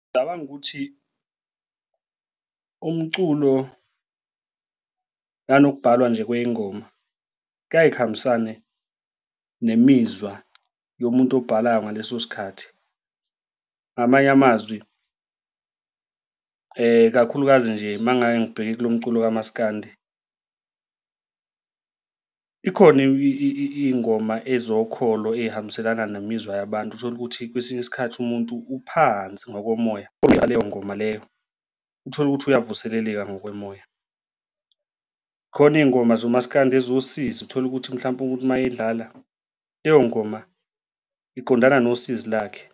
Ngicabanga ukuthi umculo nokubhalwa nje kwengoma kuyaye kuhambisane nemizwa yomuntu obhalayo ngaleso sikhathi, ngamanye amazwi ikakhulukazi nje uma ngake ngibheke kulo mculo kamaskandi, khona iy'ngoma ezokholo ey'hambiselana nemizwa yabantu, uthole ukuthi kwesinye isikhathi umuntu uphansi ngokomoya uma elalela leyo ngoma leyo uthole ukuthi uyavuseleleka ngokomoya. Khona iy'ngoma zomasikandi eziwusizi, uthola ukuthi mhlampe umuntu uma edlala leyo ngoma iqondana nosizi lakhe.